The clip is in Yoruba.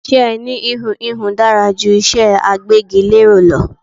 Iṣẹ́ ẹni íhùn íhùn dára ju iṣé agbégilére lọ.